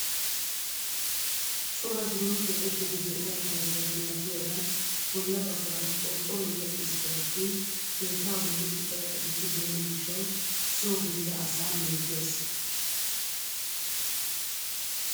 Cora biron keexettiidi de'iyaa keettay beettiyaagan bolla baggaara qorqqoroy wodhdhis pe'attin keettaa bolli ciqay ciqettibeenna gishshawu soo gelida asaa meeggees.